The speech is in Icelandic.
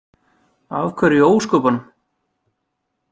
Af hverju í ósköpunum?